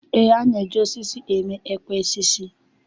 E na-eji osisi eme ekwe osisi.